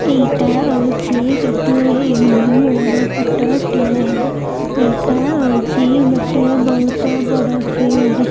ଏଇଟା ହୋଉଚି ଗୋଟିଏ ଇଭିନିଂ ବେଳର ଫୋଟ ଟିଏ ଏଇଟା ହୋଉଚି ଗୋଟିଏ ବହୁତ ବଡ଼ ଫିଲ୍ଡ ।